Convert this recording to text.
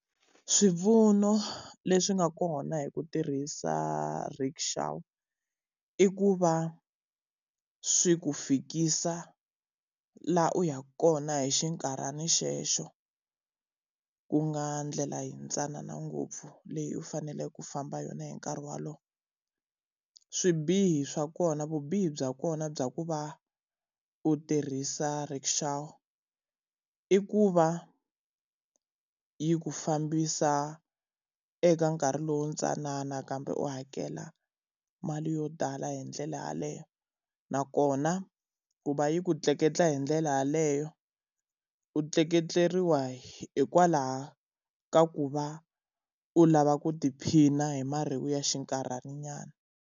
Swipfuno leswi nga kona hi ku tirhisa rikshaw, i ku va swi ku fikisa laha u ya kona hi xinkarhana xexo ku nga ndlela yintsanana ngopfu leyi u fanele ku famba yona hi nkarhi walowo. Swibihi swa kona vubihi bya kona bya ku va u tirhisa rikshaw i ku va yi ku fambisa eka nkarhi lowu ntsanana kambe u hakela mali yo tala hi ndlela yaleyo. Nakona ku va yi ku tleketla hi ndlela yaleyo, u tleketleriwa hikwalaho ka ku va u lava ku tiphina hi mareyi ya xinkarhananyana.